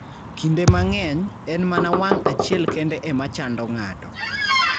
Kinde mang'eny, en mana wang' achiel kende ema chando ng'ato.